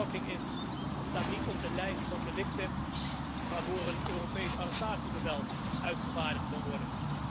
Stalking staat niet op de lijst van delicten waarvoor een Europees arrestatiebevel uitgevaardigd kan worden.